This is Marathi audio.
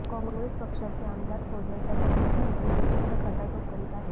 काँग्रेस पक्षाचे आमदार फोडण्यासाठी मुख्यमंत्री प्रचंड खटाटोप करीत आहेत